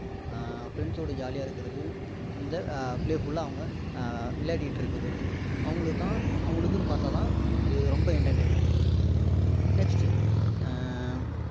ஆஹ் friends சோட jolly யா இருக்கிறது இந்த playful லா அவங்க விளையாடிட்டு இருக்கிறது அவங்களுக்கு தான் அவங்களுக்குன்னு பார்த்தா தான் இது ரொம்ப entertainment next ஆஹ்